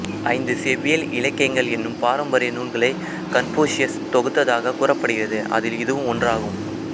ஐந்து செவ்வியல் இலக்கியங்கள் என்னும் பாரம்பரிய நூல்களை கன்பூசியஸ் தொகுத்ததாகக் கூறப்படுகிறது அதில் இதுவும் ஒன்றாகும்